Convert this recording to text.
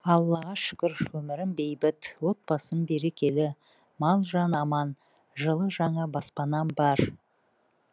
аллаға шүкір өмірім бейбіт отбасым берекелі мал жан аман жылы жаңа баспанам бар